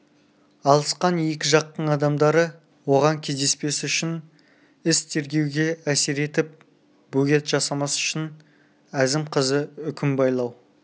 алысқан екі жақтың адамдары оған кездеспес үшін іс тергеуге әсер етіп бөгет жасамас үшін әзім қызы үкім байлау